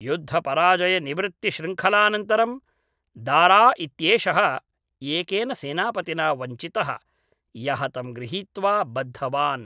युद्धपराजयनिवृत्तिश्रृङ्खलानन्तरं दारा इत्येषः एकेन सेनापतिना वञ्चितः, यः तं गृहीत्वा बद्धवान्।